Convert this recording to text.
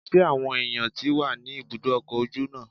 Ṣé àwọn èèyàn tí wà ní ibùdó ọkọ̀ ojú náà?